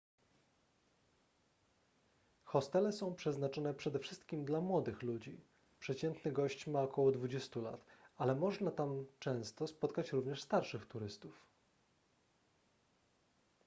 hostele są przeznaczone przede wszystkim dla młodych ludzi przeciętny gość ma około dwudziestu lat ale można tam często spotkać również starszych turystów